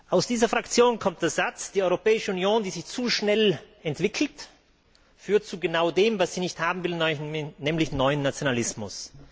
Aus dieser Fraktion kommt der Satz Die Europäische Union, die sich zu schnell entwickelt, führt zu genau dem, was sie nicht haben will, nämlich neuen Nationalismus.